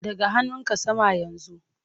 Ɗaga hannunka sama yanzu!